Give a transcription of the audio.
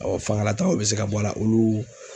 fangalatagaw bɛ se ka bɔ a la olu